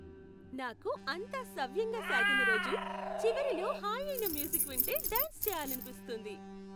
నాకు అంతా సవ్యంగా సాగిన రోజు, చివరిలో హాయైన మ్యూజిక్ వింటే డ్యాన్స్ చేయాలనిపిస్తుంది.